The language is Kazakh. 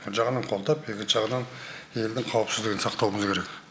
бір жағынан қолдап екінші жағынан елдің қауіпсіздігін сақтауымыз керек